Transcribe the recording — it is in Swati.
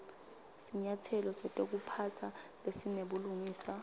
sinyatselo setekuphatsa lesinebulungiswa